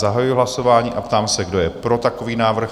Zahajuji hlasování a ptám se, kdo je pro takový návrh?